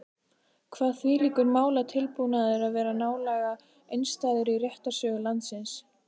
Kvað þvílíkur málatilbúnaður vera nálega einstæður í réttarsögu landsins.